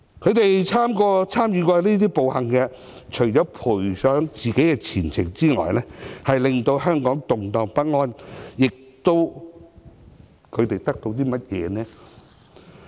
他們參與過這些暴行，除了賠上自己的前程，令香港動盪不安外，他們得到甚麼呢？